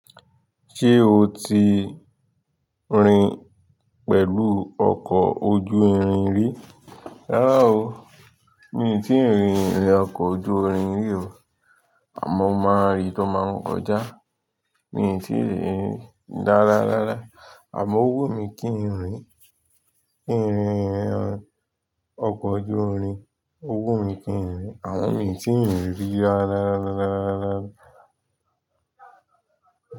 Ṣé o ti rìn pẹ̀lú ọkọ̀ ojú irin rí? Rárá o, mi ò tíì rí irin ọkọ̀ ojú irin rí o. Àmọ́ mo máa rí tó máa ń kọjá. Mi tíì rí rí. Dára rárá. Àmọ́ ó wùn mí kí n rìn kí n rìn rìn ọkọ̀ ojú irin. Owó mi kì ń rìn. Àwọn mi ò tí rìn rí. Rárá rárá rárá.